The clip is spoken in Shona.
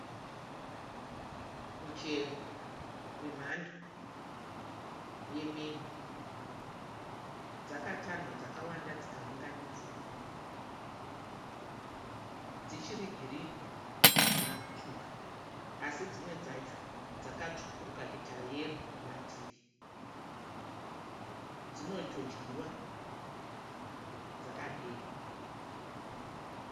Muchero wemhando yemengo. Dzakatanhwa dzakawanda dzikaunganidziwa. Dzichiri girini, hadzina kutsvuka. Asi dzimwe dzacho dzakatsvukirikira kuita yero kumativi. Dzinotodyiwa dzakadero.